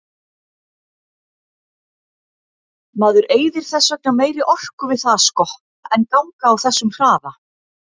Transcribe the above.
Maður eyðir þess vegna meiri orku við það að skokka en ganga á þessum hraða.